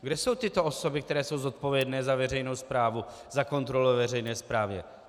Kde jsou tyto osoby, které jsou zodpovědné za veřejnou správu, za kontrolu veřejné správy?